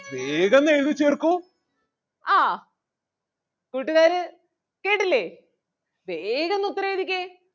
ആഹ് കൂട്ടുകാര് കേട്ടില്ലേ വേഗന്ന് ഉത്തരം എഴുതിക്കേ.